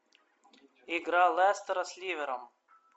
игра лестера с ливером